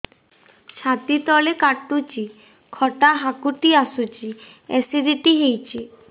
ଛାତି ତଳେ କାଟୁଚି ଖଟା ହାକୁଟି ଆସୁଚି ଏସିଡିଟି ହେଇଚି